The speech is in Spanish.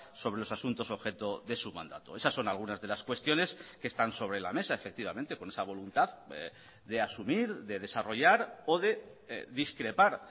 sobre los asuntos objeto de su mandato esas son algunas de las cuestiones que están sobre la mesa efectivamente con esa voluntad de asumir de desarrollar o de discrepar